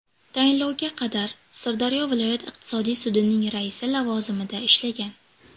Tayinlovga qadar Sirdaryo viloyat iqtisodiy sudining raisi lavozimida ishlagan.